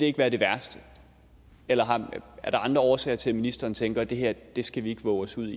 ikke være det værste eller er der andre årsager til at ministeren tænker at det her skal vi ikke vove os ud